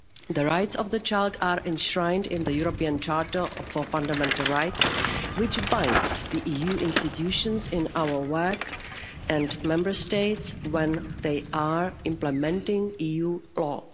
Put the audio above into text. The rights of the child are enshrined in the European Charter for Fundamental Rights, which binds the EU institutions in our work, and Member States when they are implementing EU law.